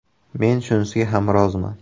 Men shunisiga ham roziman.